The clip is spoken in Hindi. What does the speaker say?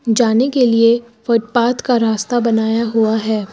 जाने के लिए फुटपाथ का रास्ता बनाया हुआ है।